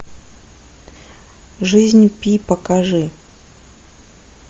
жизнь пи покажи